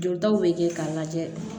Jɔtaw bɛ kɛ k'a lajɛ